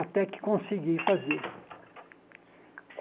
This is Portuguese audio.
Até que consegui fazer.